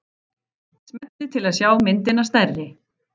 Smellið til að sjá myndina stærri.